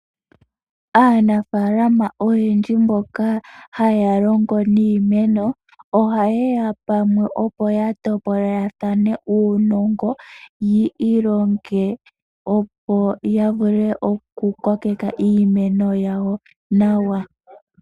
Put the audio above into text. Aanafaalama oyendji mboka haya longo niimeno, ohaye ya pamwe opo ya topolelathane uunongo, yi ilonge opo ya vule oku kokeka iimeno yawo nawa.